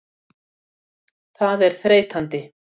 Það er þreytandi.